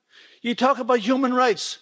You talk about human rights.